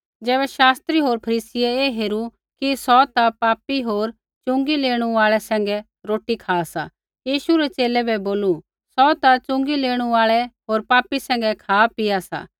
ज़ैबै शास्त्री होर फरीसियै ऐ हेरू कि सौ ता पापी होर च़ुँगी लेणु आल़ै सैंघै रोटी खा सा यीशु रै च़ेले बै बोलू सौ ता च़ुँगी लेणु आल़ै होर पापी सैंघै खा पीआ सा